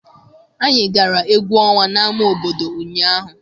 Anyị gara egwu ọnwa n'ama obodo ụnyaahụ.